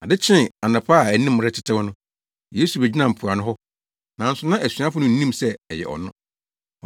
Ade kyee anɔpa a anim retetew no, Yesu begyinaa mpoano hɔ, nanso na asuafo no nnim sɛ ɛyɛ ɔno.